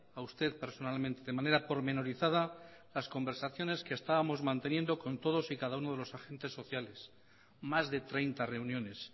a usted personalmente de manera pormenorizada las conversaciones que estábamos manteniendo con todos y cada uno de los agentes sociales más de treinta reuniones